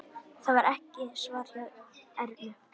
Það svarar ekki hjá Ernu.